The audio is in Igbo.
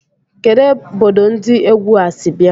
Kedụ obodo ndi égwu a sị bịa?